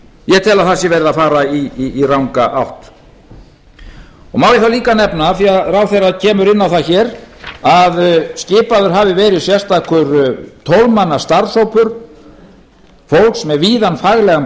ég tel að það sé verið að fara í ranga átt má ég þá líka nefna af því ráðherra kemur inn á það hér að skipaður hafi verið sérstakur tólf manna starfshópur fólks með víðan faglegan